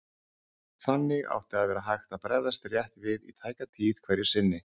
Þannig átti að vera hægt að bregðast rétt við í tæka tíð hverju sinni.